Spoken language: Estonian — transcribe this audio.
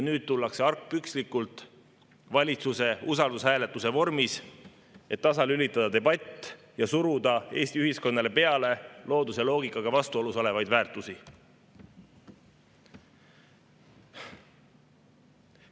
Nüüd tullakse argpükslikult valitsuse usaldushääletuse vormis, et tasalülitada debatt ja suruda Eesti ühiskonnale peale looduse loogikaga vastuolus olevaid väärtusi.